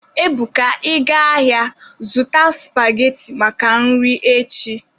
Ebuka,Ị gaa ahịa, zụta supageti maka nri echi!